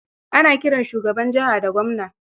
Ana kiran shugaban jiha da gwamna.